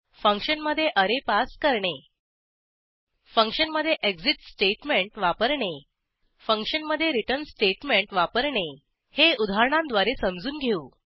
फंक्शनमधे अरे पास करणे फंक्शनमधे एक्सिट स्टेटमेंट वापरणे फंक्शनमधे रिटर्न स्टेटमेंट वापरणे हे उदाहरणांद्वारे समजून घेऊ